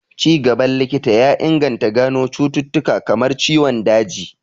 Ci gaban likita ya inganta gano cututtuka kamar ciwon daji